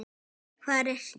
Hvar ertu?